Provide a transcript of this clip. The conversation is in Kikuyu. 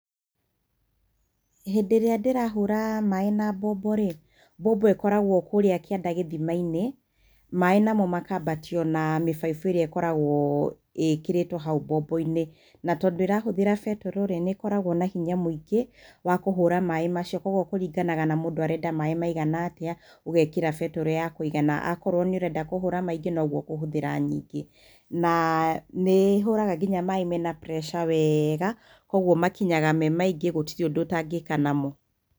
Hĩndĩ ĩrĩa ndĩrahũra maaĩ na mbombo rĩ, mbombo ĩkoragwo kũrĩa kĩanda gĩthima-inĩ, maaĩ namo makaambatio na mĩbaibũ ĩrĩa ĩkoragwo ĩkĩrĩtwo hau mbombo-inĩ. Na tondũ ĩrahũthĩra betũrũ rĩ, nĩ ĩkoragwo na hinya mũingĩ wa kũhũra maaĩ macio, kwoguo kũringanaga na mũndũ arenda maaĩ maigana atĩa, ũgeeĩra betũrũ ya kũigana. Akorwo nĩ ũrenda kũhũra maingĩ, no ũguo ũkũhũthĩra nyingĩ. Na nĩ hũraga nginya maaĩ mena pressure wega kwoguo makinyaga me maingĩ, gũtirĩ ũndũ ũtangĩka namo.